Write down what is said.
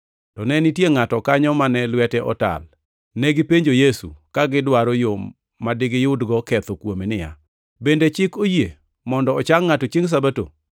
to ne nitie ngʼato kanyo ma lwete notal. Negipenjo Yesu, ka gidwaro yo ma digiyudgo ketho kuome, niya, “Bende chik oyie mondo ochang ngʼato chiengʼ Sabato?”